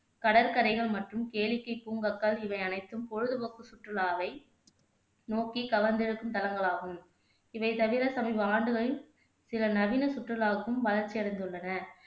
கடற்கரைகள் மற்றும் கேளிக்கை பூங்காக்கள் இவையனைத்தும் பொழுதுபோக்கு சுற்றுலாவை நோக்கி கவர்ந்திழுக்கும் தலங்களாகும் இவை தவிற சமீப ஆண்டுகளில் சில நவீன சுற்றுலாவுக்கும் வளர்ச்சி அடைந்துள்ளன